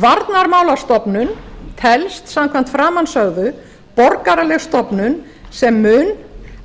varnarmálastofnun telst samkvæmt framansögðu borgaraleg stofnun sem mun